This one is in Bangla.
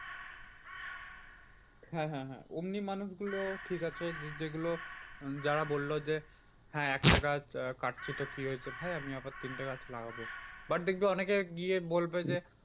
হ্যাঁ হ্যাঁ হ্যাঁ অমনি মানুষগুলো ঠিক আছে যেগুলো যারা বললো যে, হ্যাঁ একটা গাছ কাটছি তো কি হয়েছে ভাই আমি আবার তিনটে গাছ লাগাবো। but দেখবি অনেকে গিয়ে বলবে যে,